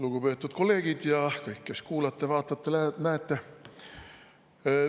Lugupeetud kolleegid ja kõik, kes te kuulate, vaatate, näete!